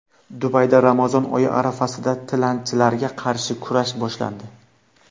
Dubayda Ramazon oyi arafasida tilanchilarga qarshi kurash boshlandi.